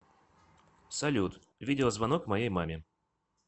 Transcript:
салют видео звонок моей маме